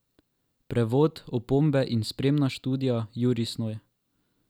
Prevod, opombe in spremna študija Jurij Snoj.